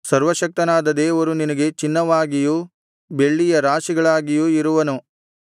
ಸರ್ವಶಕ್ತನಾದ ದೇವರು ನಿನಗೆ ಚಿನ್ನವಾಗಿಯೂ ಬೆಳ್ಳಿಯ ರಾಶಿಗಳಾಗಿಯೂ ಇರುವನು